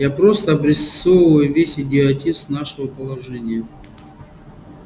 я просто обрисовываю весь идиотизм нашего положения